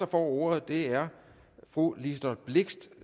får ordet er fru liselott blixt